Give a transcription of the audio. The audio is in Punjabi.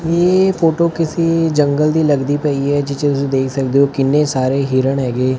ਇਹ ਫੋਟੋ ਕਿਸੇ ਜੰਗਲ ਦੀ ਲੱਗਦੀ ਪਈ ਹੈ ਜਿੱਥੇ ਤੁਸੀਂ ਦੇਖ ਸਕਦੇ ਹੋ ਕਿੰਨੇ ਸਾਰੇ ਹਿਰਨ ਹੈਗੇ।